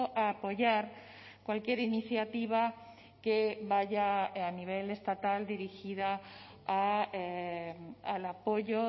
a apoyar cualquier iniciativa que vaya a nivel estatal dirigida al apoyo